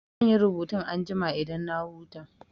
Zan yi rubutun anjima idan na huta.